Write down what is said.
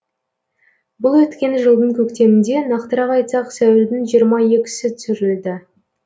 бұл өткен жылдың көктемінде нақтырақ айтсақ сәуірдің жиырма екісі түсірілді